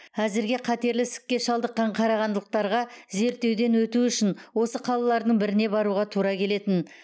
әзірге қатерлі ісікке шалдыққан қарағандылықтарға зерттеуден өту үшін осы қалалардың біріне баруға тура келетін